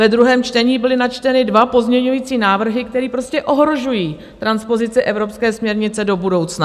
Ve druhém čtení byly načteny dva pozměňovací návrhy, které prostě ohrožují transpozici evropské směrnice do budoucna.